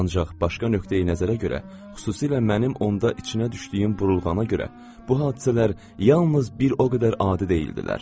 Ancaq başqa nöqteyi-nəzərə görə, xüsusilə mənim onda içinə düşdüyüm burulğana görə, bu hadisələr yalnız bir o qədər adi deyildilər.